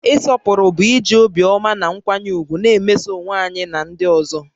Ịsọpụrụ bụ iji obiọma na nkwanye ùgwù na-emeso onwe ya na ndị ọzọ